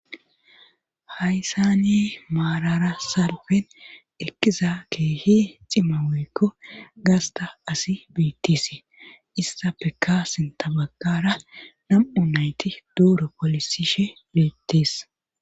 haysani maarara sarfen ekkiza keehi cimaweekko gasta asi biittisi issa peka sinta baggara nam7u nayti duuro polisishe biittis